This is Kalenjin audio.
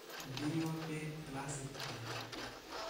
Indeiwo beek gilasit ae.